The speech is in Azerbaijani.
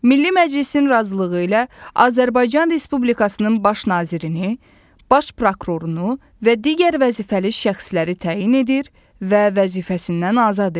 Milli Məclisin razılığı ilə Azərbaycan Respublikasının Baş Nazirini, Baş Prokurorunu və digər vəzifəli şəxsləri təyin edir və vəzifəsindən azad edir.